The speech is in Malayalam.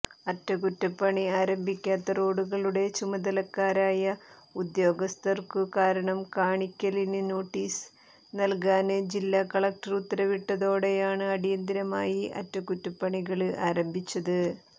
അറ്റകുറ്റപ്പണി ആരംഭിക്കാത്ത റോഡുകളുടെ ചുമതലക്കാരായ ഉദ്യോഗസ്ഥര്ക്കു കാരണം കാണിക്കല് നോട്ടീസ് നല്കാന് ജില്ലാ കളക്ടര് ഉത്തരവിട്ടതോടെയാണ് അടിയന്തരമായി അറ്റകുറ്റപ്പണികള് ആരംഭിച്ചത്